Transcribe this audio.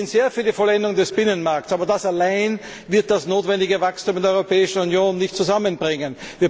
Wir sind sehr für die Vollendung des Binnenmarks, aber das allein wird das notwendige Wachstum in der Europäischen Union nicht zusammenbringen.